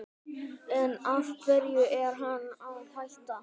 En af hverju er hann að hætta?